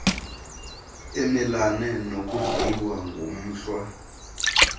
emelana nokudliwa ngumhlwa